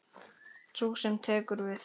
Sú sem tekur við.